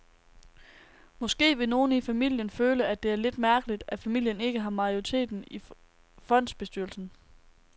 Måske vil nogle i familien føle, at det er lidt mærkeligt, at familien ikke har majoriteten i fondsbestyrelsen.